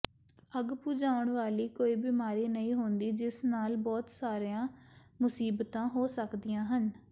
ਅੱਗ ਬੁਝਾਉਣ ਵਾਲੀ ਕੋਈ ਬਿਮਾਰੀ ਨਹੀਂ ਹੁੰਦੀ ਜਿਸ ਨਾਲ ਬਹੁਤ ਸਾਰੀਆਂ ਮੁਸੀਬਤਾਂ ਹੋ ਸਕਦੀਆਂ ਹਨ